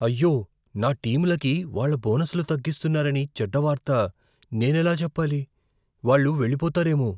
అయ్యో, నా టీంలకు వాళ్ళ బోనస్లు తగ్గిస్తున్నారని చెడ్డ వార్త నేనెలా చెప్పాలి? వాళ్ళు వెళ్లిపోతారేమో.